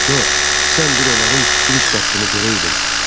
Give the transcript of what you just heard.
Co, sən bir onların giriş qapısını görəydin.